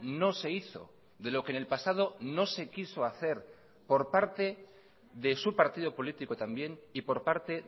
no se hizo de lo que en el pasado no se quiso hacer por parte de su partido político también y por parte